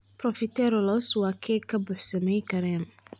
profiteroles waa keeg ka buuxsamay kareem.